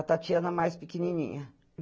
A Tatiana mais pequenininha.